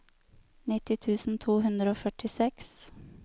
nitti tusen to hundre og førtiseks